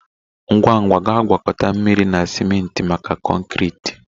Ngwa ngwa gaa gwakọta mmiri na ciment maka konkịta